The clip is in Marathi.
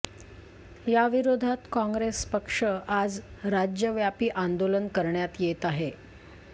याविरोधात काँग्रेस पक्ष आज राज्यव्यापी आंदोलन करण्यात येत आहे